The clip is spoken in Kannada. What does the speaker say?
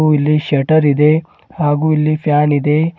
ಹಾಗೂ ಇಲ್ಲಿ ಶೆಟರ್ ಇದೆ ಹಾಗೂ ಇಲ್ಲಿ ಫ್ಯಾನ್ ಇದೆ.